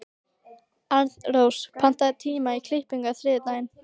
Arnrós, pantaðu tíma í klippingu á þriðjudaginn.